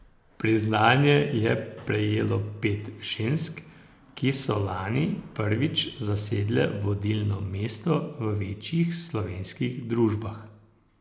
Priznanje je prejelo pet žensk, ki so lani prvič zasedle vodilno mesto v večjih slovenskih družbah.